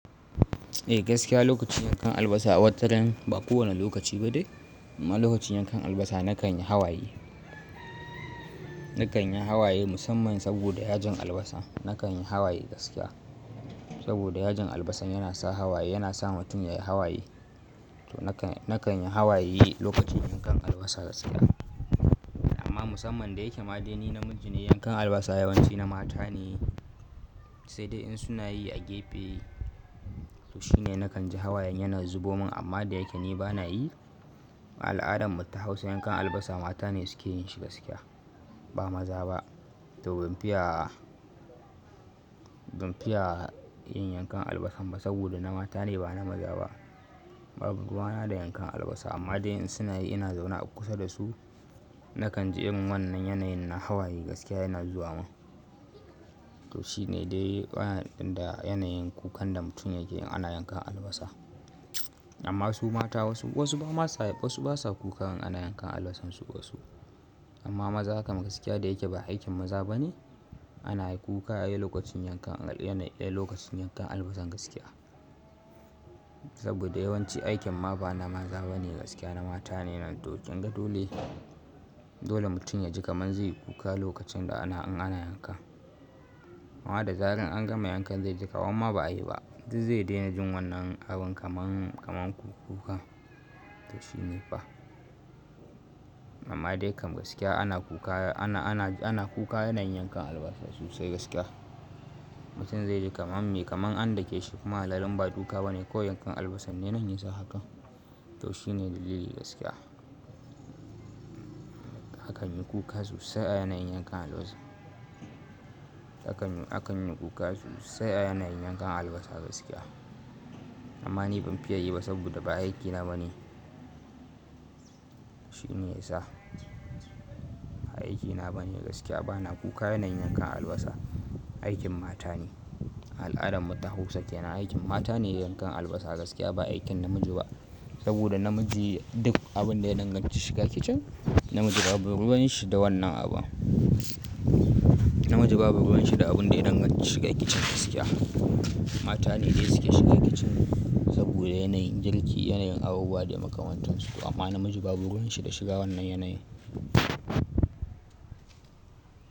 Eh gaskiya lokacin yankan albasa wataran ba kowane lokaci ba dai amma lokacin yankan albasa na kan yi hawaye. Na kan yi hawaye musamman saboda yajin albasa. Na kan yi hawaye gaskiya saboda yajin albasan yana sa hawaye, yana sa mutum yayi hawaye. To na kan, na kan yi hawaye lokacin yankan albasa gaskiya. Amma musamman da yake madeni namiji ne, yankan albasa yawanci na mata ne, sai dai in suna yi a gefe. To shine na kan ji hawayen yana zubomin amma da yake ni ba na yi, al'adan mu ta Hausa yankan albasa mata ne suke yin shi gaskiya ba maza ba. To ban fiya, ban fiya yin yankan albasan ba saboda na mata ne ba na maza ba. Ba burgana da yankan albasa amma dai in suna yi ina zauna kusa da su. Na kan ji in wannan yanayin na hawaye gaskiya yana zuwa min. To shine dai bayan ɗin da yanayin kukan da mutum yake yin ana yankan albasa. Amma su mata wasu, wasu ba ma sa, wasu ba sa kukan ana yankan albasan su wasu. Amma maza kam gaskiya da yake ba aikin maza ba ne. Ana yi kuka a lokacin yankan, a yanayi ɗaya lokacin yankan albasan gaskiya. Saboda yawanci aikin ma ba na maza ba ne gaskiya na mata ne. To kyan ga dole, dole mutum yaji kamar zai yi kuka lokacin da ana, an ana yanka. Wannan da zaren an gama yankan zai ji kama, amma ba a yi ba. Duk zai daina jin wannan abin kamar, kamar kuka. To shi ne fa. Amma dai kam gaskiya ana kuka, ana, ana, ana kuka yanayin yankan albasa sosai gaskiya. Mutum zai ji kamar me, kamar an dake shi kuma halalin ba duka ba ne ko yankan albasan ne na nesa haka. To shine dalili gaskiya. A kan yi kuka sosai a yanayin yankan albasa. A kan yi, a kan yi kuka sosai a yanayin yankan albasa gaskiya. Amma ni ban fiya yi ba saboda ba aikina ba ne. Shi ne ya sa ba aikina ba ne gaskiya. Ba na kuka yanayin yankan albasa, aikin mata ne. Al'adan mu ta Hausa ke na aikin mata ne yankan albasa gaskiya ba aikin namiji ba. Saboda namiji duk abun da ya danganci shiga kicin, namiji babu ruwan shi da wannan abu. Namiji ba buruhan shi da abun da ya danganci shiga kicin gaskiya. Mata ne dai suke shiga kicin saboda yanayin girki, yanayin abubuwa da ya makamantan su. Amma namiji babu ruwan shi da shiga wannan yanayi.